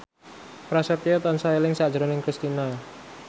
Prasetyo tansah eling sakjroning Kristina